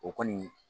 O kɔni